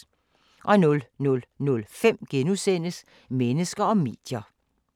00:05: Mennesker og medier *